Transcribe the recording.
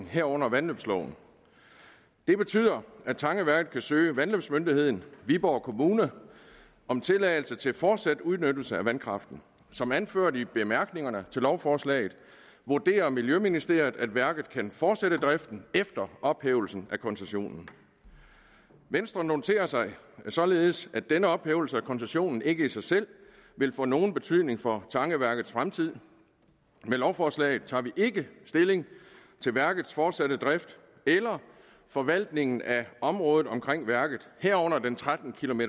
herunder vandløbsloven det betyder at tangeværket kan søge vandløbsmyndigheden viborg kommune om tilladelse til fortsat udnyttelse af vandkraften som anført i bemærkningerne til lovforslaget vurderer miljøministeriet at værket kan fortsætte driften efter ophævelsen af koncessionen venstre noterer sig således at denne ophævelse af koncessionen ikke i sig selv vil få nogen betydning for tangeværkets fremtid med lovforslaget tager vi ikke stilling til værkets fortsatte drift eller forvaltningen af området omkring værket herunder den tretten